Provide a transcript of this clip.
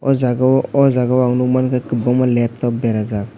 aw jaaga o jaaga o ang nug manka kwbangma laptop berajak.